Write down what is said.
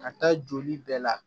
Ka taa joli bɛɛ la